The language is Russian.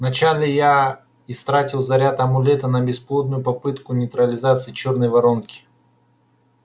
вначале я истратил заряд амулета на бесплодную попытку нейтрализации чёрной воронки